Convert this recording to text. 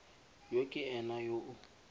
yo ke ena yo o